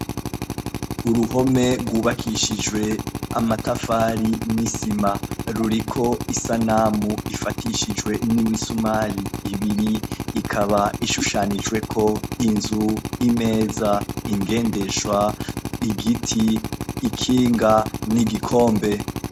Uruhome rwubakishijwe amatafari n'isima. Ruriko isanamu ifatishijwe n'imisumari ibiri, ikaba ishushanijweko inzu, imeza, ingendeshwa, igiti, ikinga n'igikombe.